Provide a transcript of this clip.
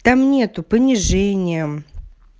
там нет понижения мм